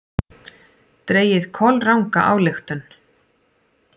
Dregið kolranga ályktun!